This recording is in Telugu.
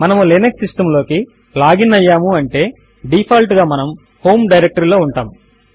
మనము లినక్స్ సిస్టమ్ లోకి లాగిన్ అయ్యాము అంటే డీఫాల్ట్ గా మనము హోమ్ డైరెక్టరీ లో ఉంటాము